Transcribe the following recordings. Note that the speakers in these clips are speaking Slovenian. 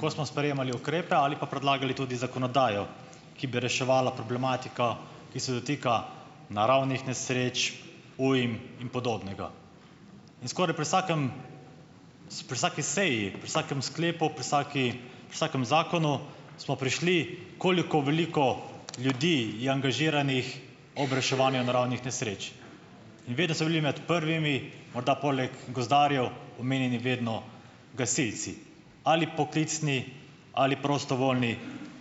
ko smo sprejemali ukrepe ali pa predlagali tudi zakonodajo, ki bi reševala problematiko, ki se dotika naravnih nesreč, ujm in podobnega. In skoraj pri vsakem, pri vsaki seji, pri vsakem sklepu, pri vsaki, vsakem zakonu smo prišli, koliko veliko ljudi je angažiranih ob reševanju naravnih nesreč in vedno so bili med prvimi, morda poleg gozdarjev, omenjeni vedno gasilci, ali poklicni ali prostovoljni,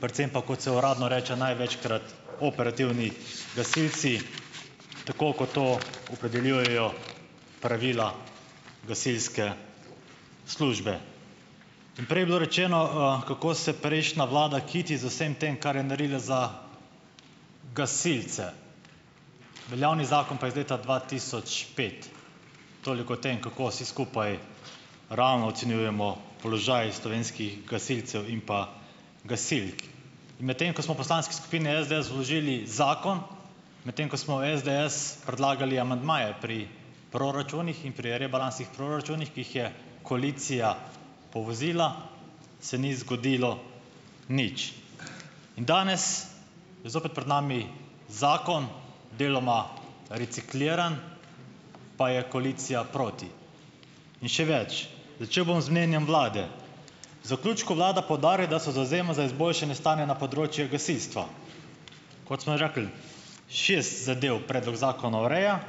predvsem pa, kot se uradno reče največkrat, operativni gasilci, tako kot to opredeljujejo pravila gasilske službe. In prej je bilo rečeno, kako se prejšnja vlada kiti z vsem tem, kar je naredila za gasilce. Veljavni zakon pa je iz leta dva tisoč pet, toliko o tem, kako vsi skupaj, realno ocenjujemo položaj slovenskih gasilcev in pa gasilk. In medtem ko smo v poslanski skupini SDS vložili zakon, medtem ko smo v SDS predlagali amandmaje pri proračunih in pri rebalansih proračunih, ki jih je koalicija povozila, se ni zgodilo nič. In danes, je zopet pred nami zakon, deloma recikliran, pa je koalicija proti in še več, začel bom z mnenjem vlade. Zaključku vlada poudarja, da se zavzema za izboljšanje stanja na področju gasilstva. Šest zadev predlog zakona ureja,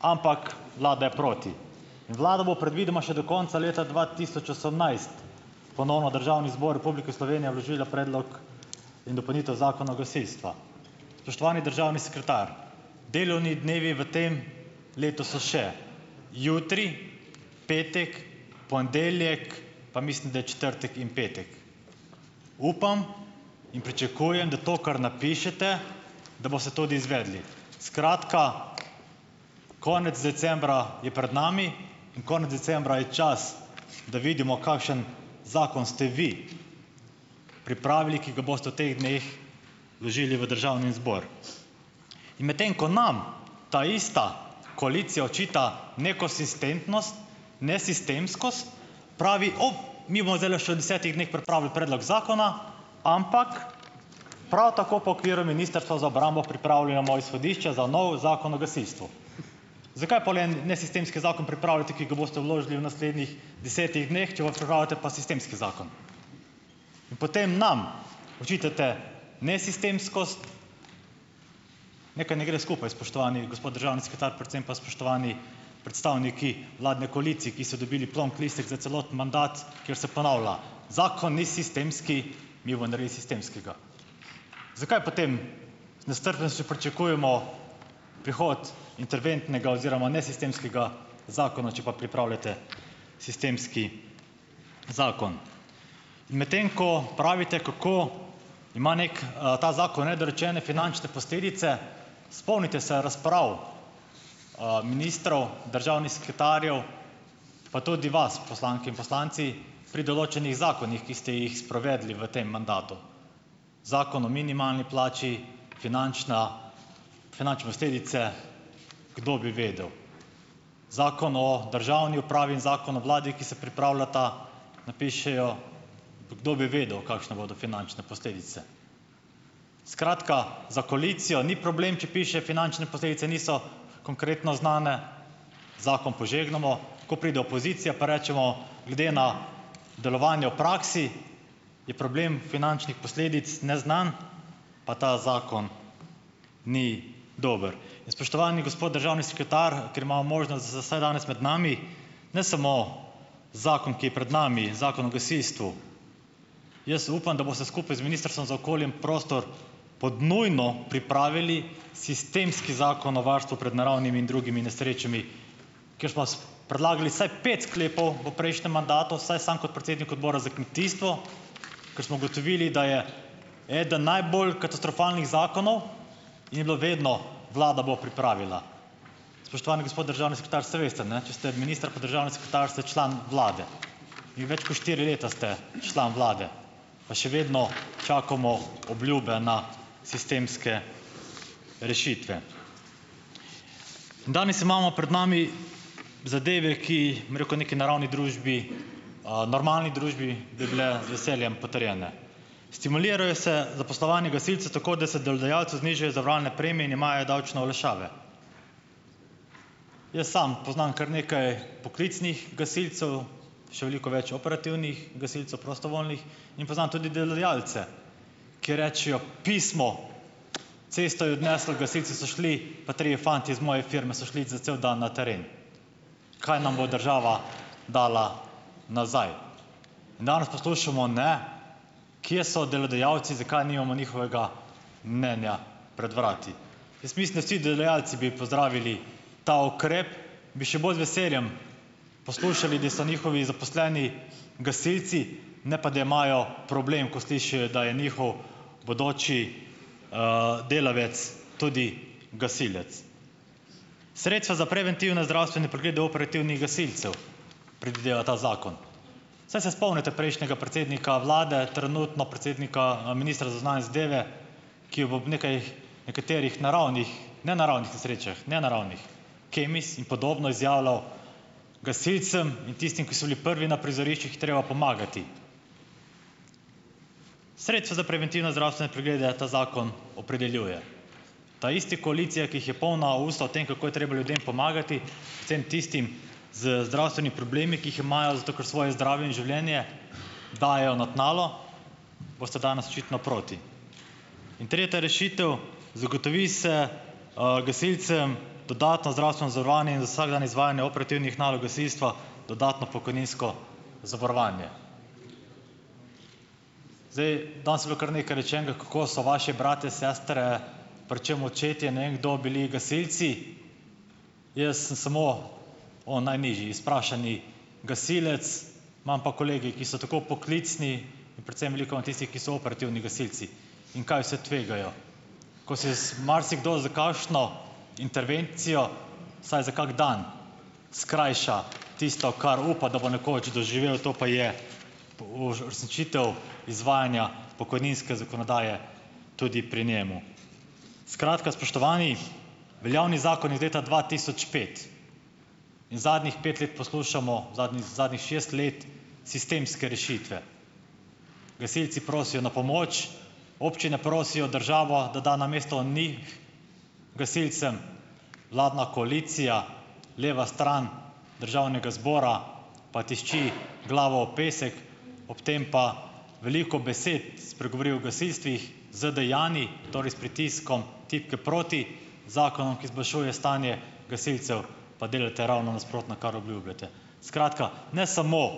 ampak vlada je proti in vlada bo predvidoma še do konca leta dva tisoč osemnajst, ponovno v Državni zbor Republike Slovenije vložila predlog in dopolnitev zakona o gasilstvu. Spoštovani državni sekretar, delovni dnevi v tem letu so še jutri, petek, ponedeljek, pa mislim, da četrtek in petek. Upam in pričakujem, da to kar napišete, da boste tudi izvedli. Skratka, konec decembra je pred nami in konec decembra je čas, da vidimo, kakšen zakon ste vi pripravili, ki ga boste v teh dneh vložili v državni zbor. In medtem ko nam ta ista koalicija očita nekonsistentnost, nesistemskost, pravi, "Mi bomo zdajle še v desetih dneh pripravili predlog zakona, ampak, prav tako pa v okviru ministrstva za obrambo pripravljamo izhodišča za novi zakon o gasilstvu." Zakaj pol en nesistemski zakon pripravljate, ki ga boste vložili v naslednjih desetih dneh, če pa pripravljate pa sistemski zakon in potem nam očitate nesistemskost. Nekaj ne gre skupaj, spoštovani gospod državni sekretar, predvsem pa spoštovani predstavniki vladne koalicije, ki ste dobili plonk listek za celoten mandat, kjer se ponavlja: "Zakon ni sistemski, mi bomo naredili sistemskega." Zakaj potem z nestrpnostjo pričakujemo prihod interventnega oziroma nesistemskega zakona, če pa pripravljate sistemski zakon. Medtem ko pravite, kako ima neki, ta zakon, nedorečene finančne posledice, spomnite se razprav, ministrov, državnih sekretarjev, pa tudi vas, poslanke in poslanci, pri določenih zakonih, ki ste jih sprovedli v tem mandatu. Zakon o minimalni plači, finančna finančne posledice, kdo bi vedel? Zakon o državni upravi in zakon o vladi, ki se pripravljata, napišejo, kdo bi vedel, kakšne bodo finančne posledice. Skratka, za koalicijo ni problem, če piše: "Finančne posledice niso konkretno znane, zakon požegnamo." Ko pride opozicija, pa rečemo: "Glede na delovanje v praksi je problem finančnih posledic neznan, pa ta zakon ni dober." In spoštovani gospod državni sekretar, ker imamo možnost da, vsaj danes med nami, ne samo zakon, ki je pred nami, zakon o gasilstvu. Jaz upam, da boste skupaj z ministrstvom za okolje in prostor pod nujno pripravili sistemski zakon o varstvu pred naravnimi in drugimi nesrečami, predlagali vsaj pet sklepov v prejšnjem mandatu, saj sam kot predsednik odbora za kmetijstvo, kar smo ugotovili, da je eden najbolj katastrofalnih zakonov, je bilo vedno: "Vlada bo pripravila." Spoštovani gospod državni sekretar, saj veste, ne, če ste minister, pa državni sekretar, ste član vlade. In več kot štiri leta ste član vlade, pa še vedno čakamo obljube, na sistemske rešitve. Danes imamo pred nami zadeve, ki, bom rekel, neki naravni družbi, normalni družbi bi bile z veseljem potrjene. Stimulira se zaposlovanje gasilcev tako, da se delodajalcu znižajo zavarovalne premije in imajo davčne olajšave. Jaz samo poznam kar nekaj poklicnih gasilcev, še veliko več operativnih gasilcev, prostovoljnih, in poznam tudi delodajalce, ki rečejo: "Pismo. Cesto je odneslo, gasilci so šli, pa trije fantje iz moje firme so šli za cel dan na teren. Kaj nam bo država dala nazaj?" In danes poslušamo, ne, kje so delodajalci, zakaj nimamo njihovega mnenja pred vrati. Jaz mislim, da vsi delodajalci bi pozdravili ta ukrep, bi še bolj z veseljem poslušali, da so njihovi zaposleni gasilci, ne pa da imajo problem, ko slišijo, da je njihov bodoči delavec tudi gasilec. Sredstva za preventivne zdravstvene preglede operativnih gasilcev predvideva ta zakon. Saj se spomnite prejšnjega predsednika vlade, trenutno predsednika, ministra za zunanje zadeve, nekaterih naravnih, ne naravnih nesrečah, ne naravnih, Kemis in podobno izjavljal, gasilcem in tistim, ki so bili prvi na prizoriščih, je treba pomagati. Sredstva za preventivne zdravstvene preglede ta zakon opredeljuje. Ta ista koalicija, ki jih je polna usta o tem, kako je treba ljudem pomagati, predvsem tistim z zdravstveni problemi, ki jih imajo, zato ker svoje zdravje in življenje dajejo na tnalo, boste danes očitno proti. In tretja rešitev, zagotovi se, gasilcem dodatno zdravstveno zavarovanje in za vsak dan izvajanje operativnih nalog gasilstva dodatno pokojninsko zavarovanje. Zdaj, danes je bilo kar nekaj rečenega, kako so vaši bratje, sestre, predvsem očetje, ne vem, kdo bili gasilci. Jaz sem samo o najnižji izprašani gasilec, imam pa kolege, ki so tako poklicni, predvsem veliko imam tistih, ki so operativni gasilci, in kaj vse tvegajo. Ko se marsikdo za kakšno intervencijo, vsaj za kak dan skrajša tisto, kar upa, da bo nekoč doživel, to pa je izvajanja pokojninske zakonodaje tudi pri njem. Skratka, spoštovani, veljavni zakon iz leta dva tisoč pet in zadnjih pet let poslušamo, zadnjih zadnjih šest let sistemske rešitve. Gasilci prosijo na pomoč, občine prosijo državo, da da namesto njih gasilcem, vladna koalicija, leva stran državnega zbora, pa tišči glavo v pesek ob tem pa veliko besed spregovori o gasilstvih, z dejanji, torej s pritiskom tipke proti, zakonom, ki izboljšuje stanje gasilcev, pa delate ravno nasprotno, kar obljubljate. Skratka, ne samo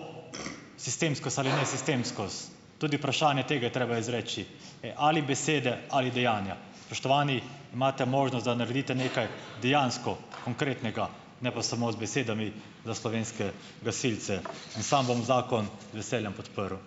sistemskost ali nesistemskost, tudi vprašanje tega je treba izreči. Ali besede ali dejanja. Spoštovani! Imate možnost, da naredite nekaj dejansko konkretnega, ne pa samo z besedami, za slovenske gasilce. In sam bom zakon z veseljem podprl.